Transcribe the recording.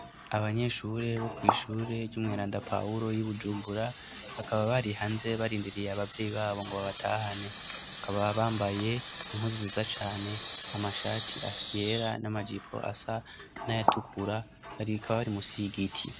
Abanyeshure bo kw'ishure ry'umweranda pahulo y'i bujubura bakaba bari hanze barindiriye abavyeyi babo ngo babatahane akaba bambaye impuzuzo za cane amashati yera n'amajipo asa n'ayatukura haribikaba bari musigiti.